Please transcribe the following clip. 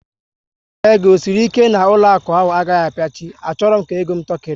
Nkwenye gị ọ sịrị ike na ụlọakụ ahụ agaghị apiachi? A chọrọ m ka ego m tọkiri